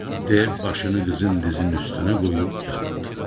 Dev başını qızın dizinin üstünə qoyub yatdı.